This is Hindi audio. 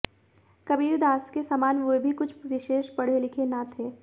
कबीरदास के समान वे भी कुछ विशेष पढ़े लिखे न थे